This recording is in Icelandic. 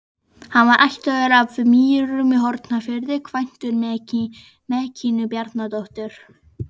Hann var ættaður af Mýrum í Hornafirði, kvæntur Mekkínu Bjarnadóttur.